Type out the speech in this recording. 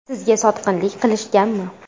Sizga sotqinlik qilishganmi?